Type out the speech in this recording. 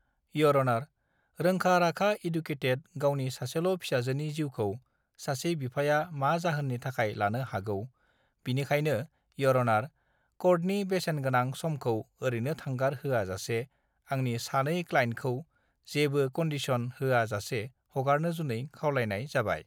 year अनार रोंखा राखा इडुकेटेड गावनि सासेल फिसाजोनि जिउखौ सासे बिफाया मा जाहोननि थाखाय लानो हागौ बिनिखायनो ईयर अनार कर्टनिबेसेनगोनां समखौ ओरैनो थांगार होआ जासे आंनि सानै क्लाइन्थखौं जेबो कनडिसन होआ जासे हगारनो जुनै खावलायनाय जाबाय